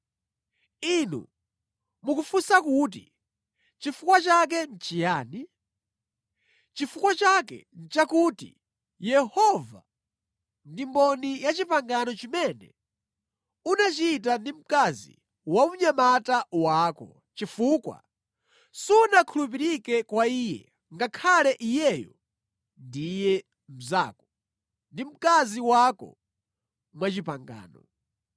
Inu mukufunsa kuti, “Chifukwa chake nʼchiyani?” Chifukwa chake nʼchakuti Yehova ndi mboni ya pangano limene unachita ndi mkazi wa unyamata wako, chifukwa sunakhulupirike kwa iye, ngakhale kuti iyeyo ndiye mnzako, ndi mkazi wako mwapangano.